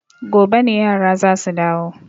Gobe ne yara za su dawo.